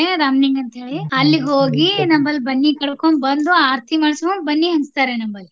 ಕಡೆ ರಾಮಲಿಂಗ ಅಂತೇಳಿ ಅಲ್ಲಿಗ್ ಹೋಗಿ ನಮ್ಮಲ್ಲಿ ಬನ್ನಿ ಕಡ್ಕೊಂಡ್ ಬಂದು ಆರತಿ ಮಾಡ್ಸ್ಕೊಂಡ್ ಬನ್ನಿ ಹಂಚತಾರೆ ನಮ್ಮಲ್ಲಿ.